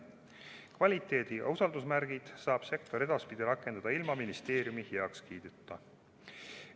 Kvaliteedi- ja usaldusmärke saab sektor edaspidi rakendada ilma ministeeriumi heakskiiduta.